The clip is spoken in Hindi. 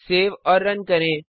सेव और रन करें